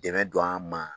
Dɛmɛ don an ma